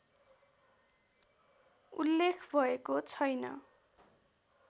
उल्लेख भएको छैन